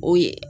O ye